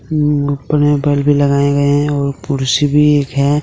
बल भी लगाए गए हैं और कुर्सी भी एक है।